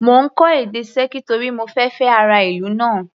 Mo ń kọ́ èdè Sẹ́ẹ̀kì torí mo fẹ fẹ́ ará ìlú náà.